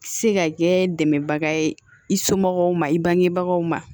Se ka kɛ dɛmɛbaga ye i somɔgɔw ma i bangebagaw ma